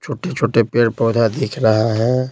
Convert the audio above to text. छोटे-छोटे पेड़-पौधा दिख रहा है।